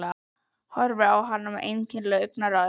Horfir á hann með einkennilegu augnaráði.